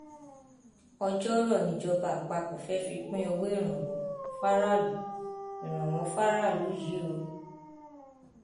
ọjọọrọ nìjọba àpapọ fẹẹ fi pín owó ìrànwọ fáráàlú ìrànwọ fáráàlú yìí o